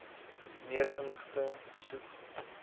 meer inligting besoek